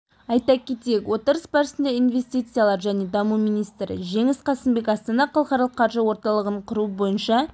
айта кетейік отырыс барысында инвестициялар және даму министрі жеңіс қасымбек астана халықаралық қаржы орталығын құру бойынша